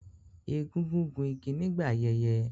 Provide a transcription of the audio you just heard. Egungun gún igi nígbà ayẹyẹ